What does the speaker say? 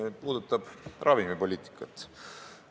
Need puudutavad ravimipoliitikat.